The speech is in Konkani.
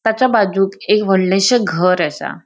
त्याचा बाजूक एक वडलेशे घर आसा.